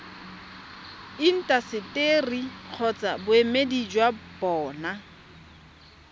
intaseteri kgotsa boemedi jwa bona